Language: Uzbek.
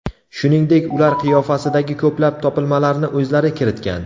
Shuningdek, ular qiyofasidagi ko‘plab topilmalarni o‘zlari kiritgan.